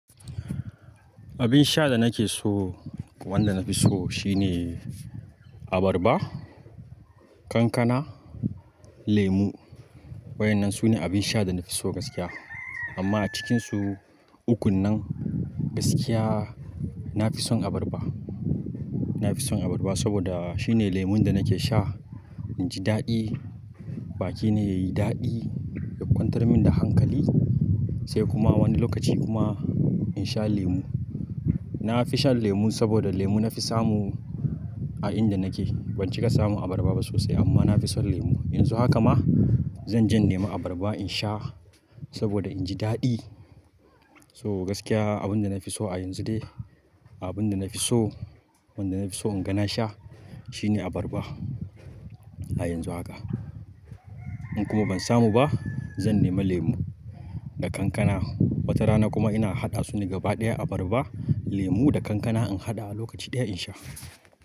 Abin sha da nake so, wanda na fi so shine abarba, kankana, lemu. Waɗannan su ne abin sha da na fi so gaskiya. Amma a cikinsu ukun nan gaskiya na fi son abarba. Na fi son abarba saboda shine lemon da nake sha in ji daɗi. Baƙi na yayi daɗi, ya ƙwantar min da hankali sai kuma wani lokaci kuma in sha lemu. Na fi shan lemu saboda lemu na fi samu a inda nake. Ban cika samu abarba ba sosai amma na fi son lemu. Yanzu haka ma zan jan nema abarba in sha saboda in ji daɗi. So gaskiya abin da na fi so a yanzu dai, abin da na fi so, wanda na fi so inga na sha shine abarba a yanzu haka. In kuma ban samu ba zan nema lemu da kankana. Wata rana kuma ina haɗa su gaba ɗaya abarba, lemu da kankana in haɗa a lokaci ɗaya in sha.